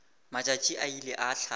matšatši a ile a hlaba